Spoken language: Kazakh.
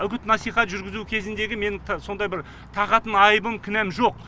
үгіт насихат жүргізу кезіндегі менің сондай бір тағатын айыбым кінәм жоқ